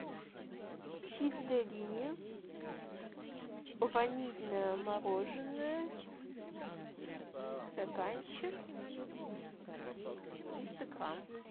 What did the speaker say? чистая линия ванильное мороженое стаканчик триста грамм